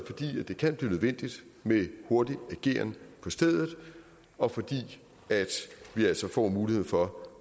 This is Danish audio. fordi det kan blive nødvendigt med hurtig ageren på stedet og fordi vi altså får muligheden for